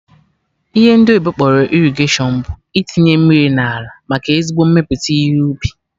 Ihe ndị oyibo kpọrọ irrigation bụ itinye mmiri n'ala, maka ezigbo mmepụta ihe ubi